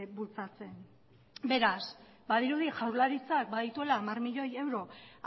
bultzatzen beraz badirudi jaurlaritzak badituela hamar milioi euro